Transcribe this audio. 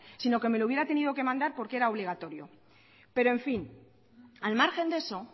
sino que me lo hubiera tenido que mandar porque era obligatorio pero en fin al margen de eso